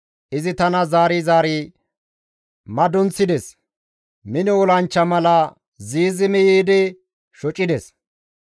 Izi tana zaari zaari madunxides; mino olanchcha mala ziizimi yiidi tana shocides.